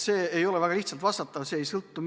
See ei ole väga lihtsalt vastatav küsimus.